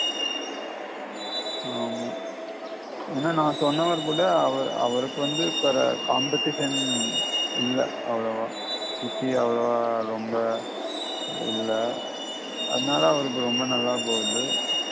ஆமா ஏன்னா நான் சொன்னவர் கூட அவர் அவருக்கு வந்து Competition இல்ல அவ்வளவா சுத்தி அவளவா ரொம்ப இல்ல அதனால ரொம்ப நல்லா போகுது